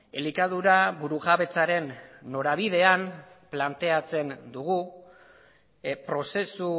elikadura burujabetzaren norabidean planteatzen dugu prozesu